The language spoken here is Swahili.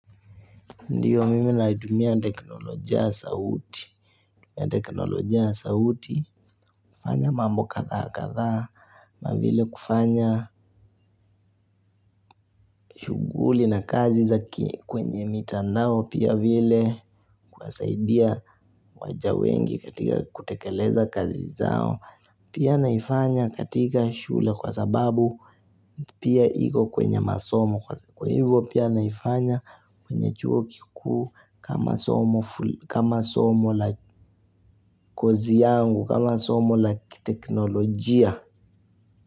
Ndiyo, mimi naitumia teknolojia ya sauti teknolojia ya sauti, kufanya mambo kadhaa kadhaa, na vile kufanya shughuli na kazi za kwenye mitandao, pia vile kuwasaidia waja wengi katika kutekeleza kazi zao, pia naifanya katika shule kwa sababu pia iko kwenye masomo. Kwa hivyo pia naifanya kwenye chuo kikuu kama somo la kozi yangu, kama somo la kiteknolojia.